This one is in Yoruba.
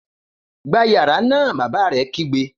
Gbá yàrá náà! Bàbá rẹ̀ kígbe